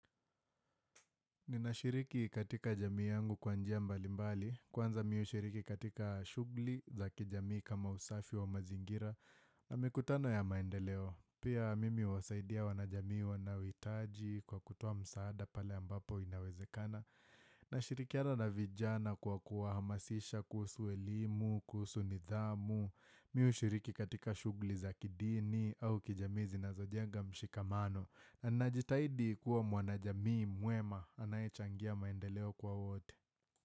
Ninashiriki katika jamii yangu kwa njia mbalimbali, kwanza mimi hushiriki katika shughuli za kijamii kama usafi wa mazingira, na mikutano ya maendeleo, pia mimi huwasaidia wanajamii wanaohitaji kwa kutoa msaada pale ambapo inawezekana. Na shirikiana na vijana kwa kuwahamasisha kuhusu elimu, kuhusu nidhamu, mimi hushiriki katika shugli za kidini au kijamii zinazojenga mshikamano. Na najitahidi kuwa mwajamii mwema, anayechangia maendeleo kwa wote.